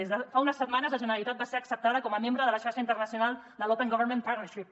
des de fa unes setmanes la generalitat va ser acceptada com a membre de la xarxa internacional de l’open government partnership